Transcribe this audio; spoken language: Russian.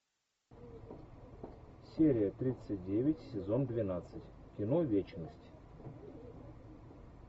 серия тридцать девять сезон двенадцать кино вечность